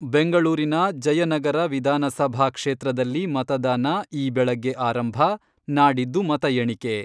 ಬೆಂಗಳೂರಿನ ಜಯನಗರ ವಿಧಾನಸಭಾ ಕ್ಷೇತ್ರದಲ್ಲಿ ಮತದಾನ ಈ ಬೆಳಗ್ಗೆ ಆರಂಭ , ನಾಡಿದ್ದು ಮತ ಎಣಿಕೆ.